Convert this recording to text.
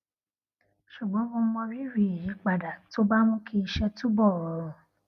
ṣùgbón mo mọrírì ìyípadà tó bá mú kí iṣé túbò rọrùn